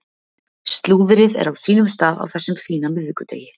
Slúðrið er á sínum stað á þessum fína miðvikudegi.